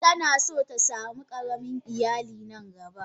Tana son ta samu karamin iyali nan gaba.